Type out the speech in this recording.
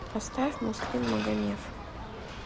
поставь муслим магомев